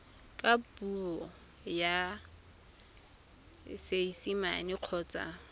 ka puo ya seesimane kgotsa